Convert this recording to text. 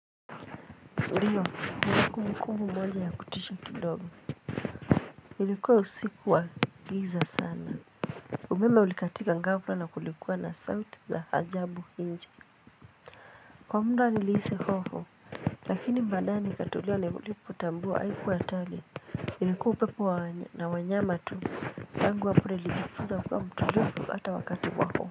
Ndio ni vile kulikuwa na moja ya kutisha kidogo ilikuwa usiku wa giza sana umeme ulikatika ghafla na kulikuwa na sauti za ajabu nje kwa muda nilihisi hoho lakini baadae ni katulia nilirudi kutambua haikuwa hatari ilikuwa upepo na wanyama tu tangu wapure alipofunza nikiwa mtoto hata wakati wako.